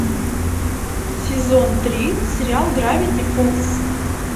сезон три сериал гравити фолз